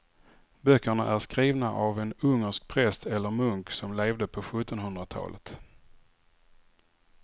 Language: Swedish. Böckerna är skrivna av en ungersk präst eller munk som levde på sjuttonhundratalet.